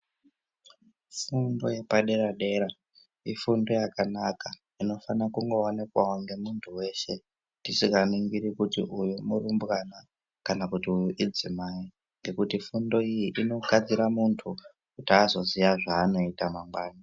Fundo yepadera dera ifundo yakanaka inofanira kungoonekwavo nemuntu weshe tisinganingiri kuti uyu murubwana kana kuti uyu idzimai ngekuti fundo iyi inogadzira muntu kuti azoziyaa zvaanoita mangwana.